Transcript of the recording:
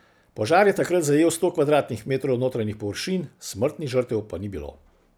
Požar je takrat zajel sto kvadratnih metrov notranjih površin, smrtnih žrtev pa ni bilo.